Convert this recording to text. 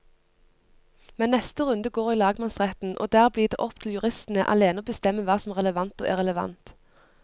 Men neste runde går i lagmannsretten, og der blir det opp til juristene alene å bestemme hva som er relevant og irrelevant.